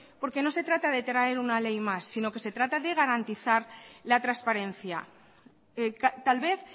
porque no se trata de traer una ley más sino que se trata de garantizar la transparencia tal vez